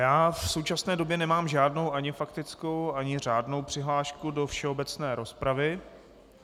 Já v současné době nemám žádnou ani faktickou, ani řádnou přihlášku do všeobecné rozpravy.